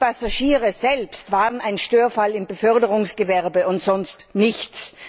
Die Passagiere selbst waren ein Störfall im Beförderungsgewerbe und sonst nichts!